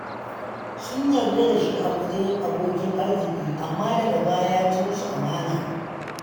Sun yarda da shi a matsayin abokin arziki, amma daga baya ya ci musu amana.